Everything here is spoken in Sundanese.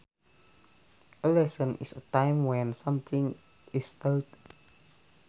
A lesson is a time when something is taught